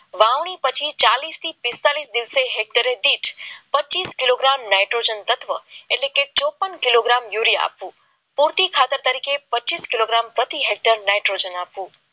વાવણી પાટી ચાલીસ થી પિસ્તાળીસ કિલો ગ્રામ પ્રોજન્ટ તટવા એટલે ચોપન કિલોગ્રામ યુરિયા આપો કોટી ખાતા તરીકે પચીસ કિલોગ્રામ નાઇટ્રોજન આપવું